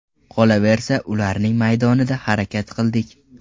Qolaversa ularning maydonida harakat qildik.